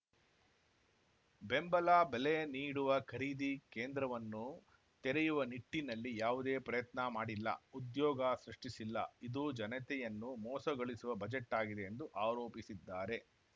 ಬೆಂಬಲ ಬೆಲೆ ನೀಡುವ ಖರೀದಿ ಕೇಂದ್ರವನ್ನು ತೆರೆಯುವ ನಿಟ್ಟಿನಲ್ಲಿ ಯಾವುದೇ ಪ್ರಯತ್ನ ಮಾಡಿಲ್ಲ ಉದ್ಯೋಗ ಸೃಷ್ಠಿಸಿಲ್ಲ ಇದು ಜನತೆಯನ್ನು ಮೋಸಗೊಳಿಸುವ ಬಜೆಟ್‌ ಆಗಿದೆ ಎಂದು ಆರೋಪಿಸಿದ್ದಾರೆ